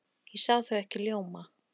Ég sá þau ekki ljóma.